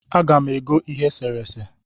Aga m ego ihe eserese